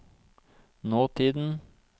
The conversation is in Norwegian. nåtiden